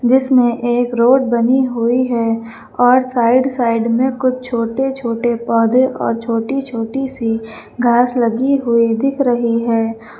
जिसमें एक रोड बनी हुई है और साइड साइड में कुछ छोटे छोटे पौधे और छोटी छोटी सी घास लगी हुई दिख रही है।